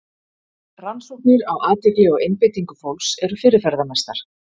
Rannsóknir á athygli og einbeitingu fólks eru fyrirferðamestar.